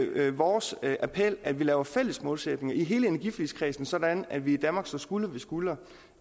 er vores appel at vi laver fælles målsætninger i hele energiforligskredsen sådan at vi i danmark står skulder ved skulder